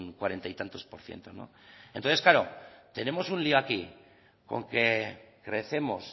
cuarenta y tantos por ciento entonces tenemos un lio aquí con que crecemos